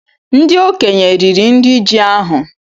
Ndị okenye riri nri ji ahú